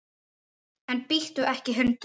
En bíttu ekki hundur!